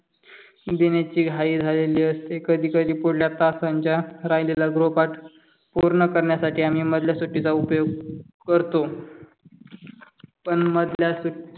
लिहिण्याची घाई झालेली असते कधी कधी पुढल्या तासांच्या राहिलेला गृहपाठ पूर्ण करण्यासाठी आम्ही मधल्या सुट्टीचा उपयोग करतो. पण मधल्या सुट्टीत